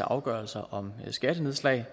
af afgørelser om skattenedslag